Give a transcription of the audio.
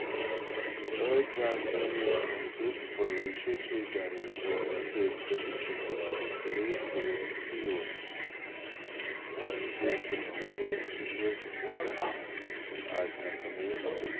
અજાતિય અને સુખ પ્રવેશ છે જ્યારે સૌથી શ્રેષ્ઠ શિક્ષણ ધરાવતી દરેક વ્યક્તતિ ઑને શ્રેષ્ઠ મૂલ્ય શીખવે છે આજના સમયમાં